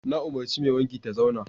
Na umarci mai wanki ta zauna!